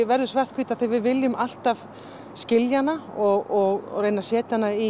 verður svarthvít því við viljum alltaf skilja hana og reyna að setja hana í